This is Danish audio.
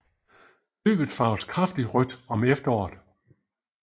Løvet farves kraftigt rødt om efteråret